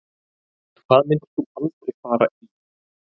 Hvað myndir þú aldrei fara í